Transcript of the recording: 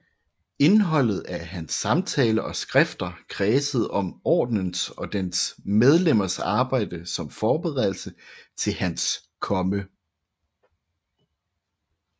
Indholdet af hans samtaler og skrifter kredsede om Ordenens og dens medlemmers arbejde som forberedelse til Hans Komme